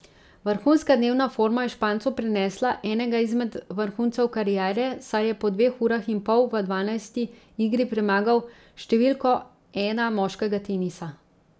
Vrhunska dnevna forma je Špancu prinesla enega izmed vrhuncev kariere, saj je po dveh urah in pol v dvanajsti igri premagal številko ena moškega tenisa.